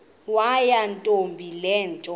yakwantombi le nto